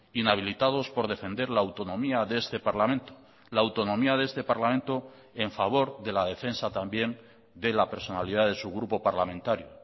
inhabilitados por defender la autonomía de este parlamento la autonomía de este parlamento en favor de la defensa también de la personalidad de su grupo parlamentario